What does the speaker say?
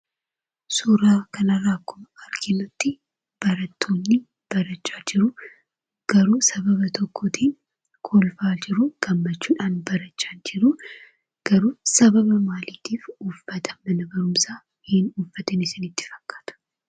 Suuraa kana irraa akkuma arginutti, barattoonni barachaa jiru, garuu sababa tokkootiin kolfaa jiruu, gammachuudhaan barachaa jiru ,garuu sababa maaliitiif uffata mana barumsaa hin uffatiin isinitti fakkaata?